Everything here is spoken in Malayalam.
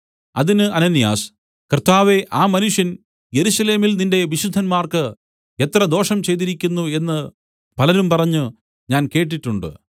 അതിന് അനന്യാസ് കർത്താവേ ആ മനുഷ്യൻ യെരൂശലേമിൽ നിന്റെ വിശുദ്ധന്മാർക്ക് എത്ര ദോഷം ചെയ്തിരിക്കുന്നു എന്നു പലരും പറഞ്ഞു ഞാൻ കേട്ടിട്ടുണ്ട്